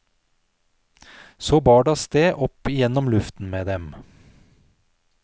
Så bar det avsted opp igjennom luften med dem.